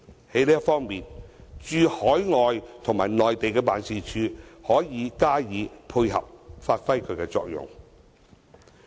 在這方面，駐海外及內地辦事處可以加以配合，發揮其作用。